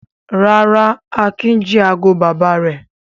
Rárá, Akin jí ago bàbá rẹ̀.